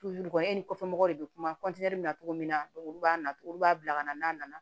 e ni kɔfɛ mɔgɔw de be kuma bɛ cogo min na olu b'a na olu b'a bila ka na n'a nana